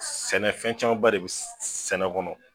Sɛnɛ ,fɛn caman ba de bɛ sɛnɛ kɔnɔ.